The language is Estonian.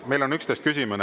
Meil on 11 küsimust.